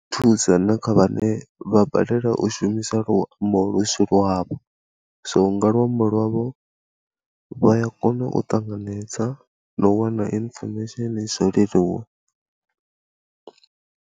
Thusa na kha vhane vha balelwa u shumisa luambo lu si lwavho, so nga luambo lwavho vha ya kona u ṱanganedza na u wana information zwo leluwa.